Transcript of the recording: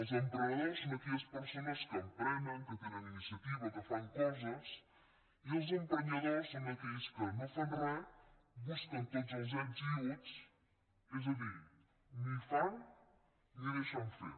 els emprenedors són aquelles persones que emprenen que tenen iniciativa que fan coses i els emprenyadors són aquells que no fan res busquen tots els ets i uts és a dir ni fan ni deixen fer